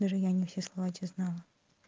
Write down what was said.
даже я не все слова те знала